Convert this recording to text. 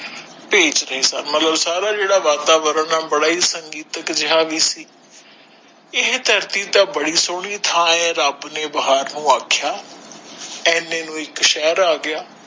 ਭੇਜ ਰਹੇ ਸਨ ਮਤਲਬ ਸਾਰਾ ਜੇੜਾ ਵਾਤਾਵਰਣ ਬੜਾ ਹੀ ਸੰਗੀਤੱਕ ਜੇਹਾ ਵੀ ਸੀ ਏਹ ਧਰਤੀ ਤਾ ਬੜੀ ਸਹੋਣੀ ਥਾਂ ਹੈ ਰਬ ਨੇ ਬੇਹਾਰੋ ਆਖਿਆ ਏਨੇ ਨੂੰ ਇਕ ਸ਼ਹਿਰ ਆਗਯਾ